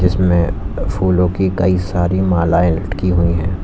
जिसमें अ फूलों की कई सारी मलाएं लटकी हुई हैं।